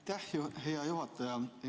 Aitäh, hea juhataja!